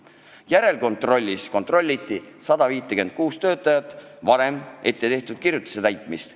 Järelkontrollis kontrolliti 156 töötaja kohta tehtud ettekirjutuse täitmist.